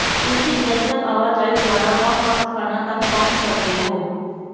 ਤੁਸੀਂ ਜਨਤਕ ਆਵਾਜਾਈ ਦੁਆਰਾ ਵੱਖ ਵੱਖ ਸਥਾਨਾਂ ਤੱਕ ਪਹੁੰਚ ਸਕਦੇ ਹੋ